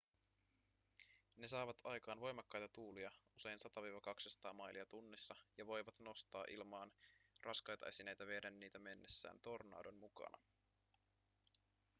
ne saavat aikaan voimakkaita tuulia usein 100–200 mailia tunnissa ja voivat nostaa ilmaan raskaita esineitä vieden niitä mennessään tornadon mukana